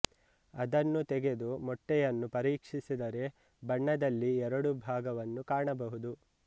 ಅದನ್ನು ತೆಗೆದು ಮೊಟ್ಟೆಯನ್ನು ಪರೀಕ್ಷಿಸಿದರೆ ಬಣ್ಣದಲ್ಲಿ ಎರಡು ಭಾಗವನ್ನು ಕಾಣಬಹುದು